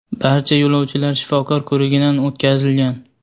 Barcha yo‘lovchilar shifokor ko‘rigidan o‘tkazilgan.